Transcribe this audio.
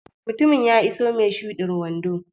Mutumin ya iso mai shudin wando.